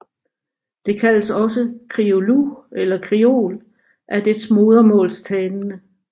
Det kaldes også Kriolu eller Kriol af dets modersmålstalende